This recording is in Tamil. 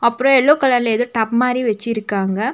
அப்றொ எல்லோ கலர்லெ ஏதோ டப் மாரி வச்சிருக்காங்க.